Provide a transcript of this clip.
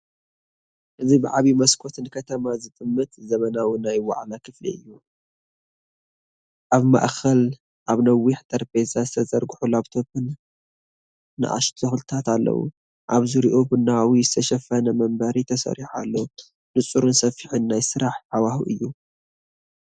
እዚ ብዓቢ መስኮት ንከተማ ዝጥምት ዘመናዊ ናይ ዋዕላ ክፍሊ እዩ። ኣብ ማእከል ኣብ ነዊሕ ጠረጴዛ ዝተዘርግሑ ላፕቶፕን ንኣሽቱ ተኽልታትን ኣለው። ኣብ ዙርያኡ ቡናዊ ዝተሸፈነ መንበር ተሰሪዑ ኣሎ። ንጹርን ሰፊሕን ናይ ስራሕ ሃዋህው እዩ።